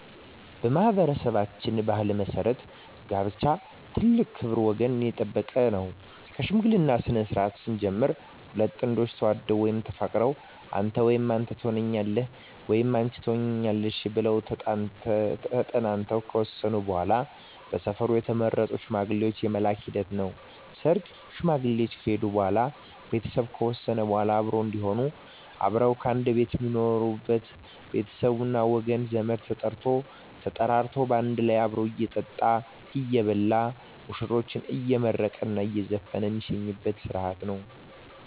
በማኅበረሠባችን ባሕል መሠረት ጋብቻ ትልቅ ክብር ወገን የጠበቀ ነው ከሽምግልናው ስነስርዓት ስንጀምር ሁለት ጥንዶች ተዋደው ወይም ተፋቅረው አንተ ወይም አንተ ተሆነኛለህ ወይም አንች ትሆኝኛለሽ ብለው ተጠናንተው ከወሰኑ በዋላ በሰፈሩ የተመረጡ ሽማግሌዎች የመላክ ሂደት ነው ሰርግ ሽማግሌዎች ከሄዱ በዋላ ቤተሰብ ከወሰነ በዋላ አብሮ እዴሆኑ አብረው ከአንድ ቤት ሜኖሩበች ቤተሰብ ጓደኞቼ ወገን ዘመድ ተጠርቶ ተጠራርቶ ባንድ ላይ አብሮ እየጠጣ እየበላ ሙሽራዎችን አየመረቀ እየዘፈነ ሜሸኝበት ስረሀት ነው